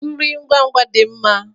Nri ngwa ngwa dị mma.